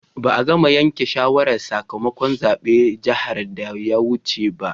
Ba'a gama yanken shawaran sakamakon zaben jihar da ya wuce ba.